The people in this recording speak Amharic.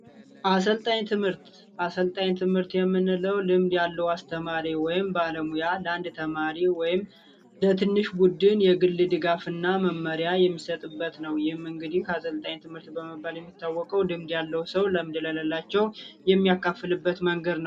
አሰልጣኝ ትምህርት የምንለው ልምድ ያለው አስተማሪ ወይም ባለሙያ ለአንድ ተማሪ ወይም ለትንሽ ቡድን የግል ድጋፍ እና መመሪያ የሚሰጥበት ነው። ይህም እንግዲህ አሰልጣኝ ትምህርት ልምድ ያለው ሰው ልምድ ለሌላቸው የሚያካፍልበት ነው።